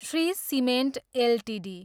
Shri Cement Ltd